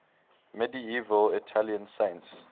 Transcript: medieval italian saints